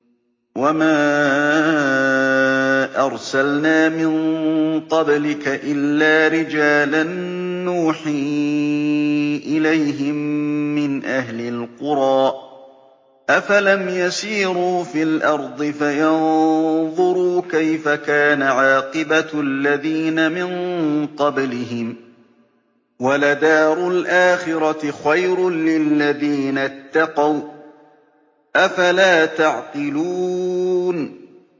وَمَا أَرْسَلْنَا مِن قَبْلِكَ إِلَّا رِجَالًا نُّوحِي إِلَيْهِم مِّنْ أَهْلِ الْقُرَىٰ ۗ أَفَلَمْ يَسِيرُوا فِي الْأَرْضِ فَيَنظُرُوا كَيْفَ كَانَ عَاقِبَةُ الَّذِينَ مِن قَبْلِهِمْ ۗ وَلَدَارُ الْآخِرَةِ خَيْرٌ لِّلَّذِينَ اتَّقَوْا ۗ أَفَلَا تَعْقِلُونَ